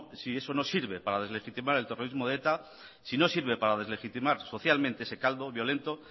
si eso no sirve para deslegitimar el terrorismo de eta si no sirve para deslegitimar socialmente ese caldo violento